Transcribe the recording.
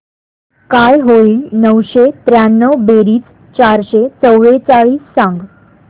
काय होईल नऊशे त्र्याण्णव बेरीज चारशे चव्वेचाळीस सांग